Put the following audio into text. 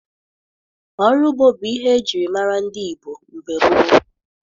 Ọrụ ugbo bụ ihe ejiri mara ndị Igbo mgbe gboo.